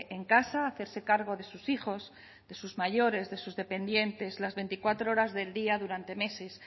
en casa a hacerse cargo de sus hijos de sus mayores de sus dependientes las veinticuatro horas del día durante meses